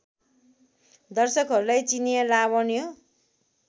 दर्शकहरूलाई चिनियाँ लावण्य